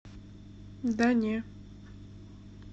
да не